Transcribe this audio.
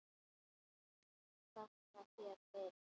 Nei, þakka þér fyrir.